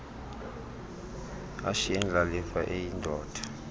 ashiye indlalifa eyindoda